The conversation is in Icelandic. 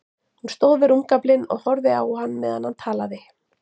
Hún stóð við rúmgaflinn og horfði á hann meðan hann talaði.